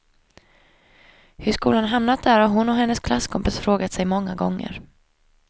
Hur skolan hamnat där har hon och hennes klasskompisar frågat sig många gånger.